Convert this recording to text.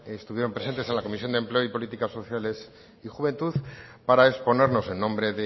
estuvieron presentes en la comisión de empleo y políticas sociales y juventud para exponernos en nombre